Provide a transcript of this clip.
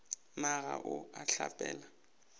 na ga o a hlapela